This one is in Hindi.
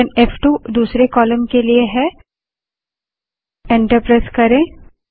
हाइफेन फ़2 दूसरे कालम के लिए एंटर प्रेस करें